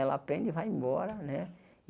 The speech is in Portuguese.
Ela aprende e vai embora, né?